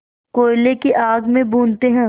कोयले की आग में भूनते हैं